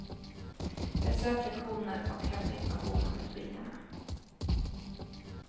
Besök lektioner och hämta information om utbildningarna.